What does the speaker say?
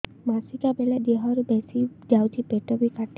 ମାସିକା ବେଳେ ଦିହରୁ ବେଶି ଯାଉଛି ପେଟ ବି କାଟେ